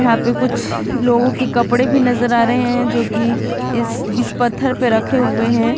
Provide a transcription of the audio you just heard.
या पे कुछ लोगों की कपड़े भी नजर आ रहे हैं जो कि इस इस पत्थर पर रखे हुए हैं।